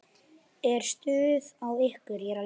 Er stuð á ykkur?